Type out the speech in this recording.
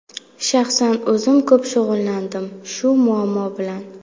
Shaxsan o‘zim ko‘p shug‘ullandim shu muammo bilan.